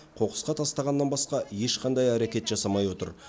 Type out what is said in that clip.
қоқысқа тастағаннан басқа ешқандай әрекет жасамай отыр